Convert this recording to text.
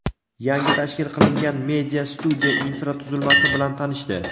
yangi tashkil qilingan media-studiya infratuzilmasi bilan tanishdi.